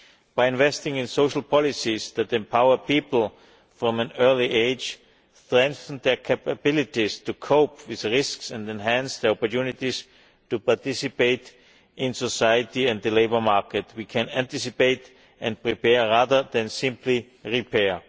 By investing in social policies that empower people from an early age, strengthen their capability to cope with risks and enhance their opportunities to participate in society and the labour market, we can anticipate and prepare rather than simply repair.